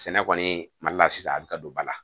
Sɛnɛ kɔni mali la sisan a bɛ ka don ba la